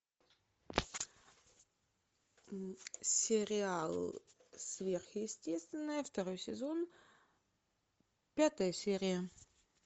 сериал сверхъестественное второй сезон пятая серия